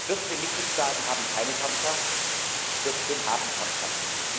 14 Mitgliedstaaten haben keine Kernkraft, 14 haben Kernkraft.